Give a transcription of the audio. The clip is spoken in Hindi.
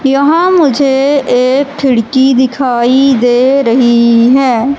यहां मुझे एक खिड़की दिखाई दे रही है।